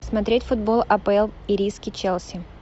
смотреть футбол апл ириски челси